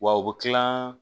Wa u bɛ kila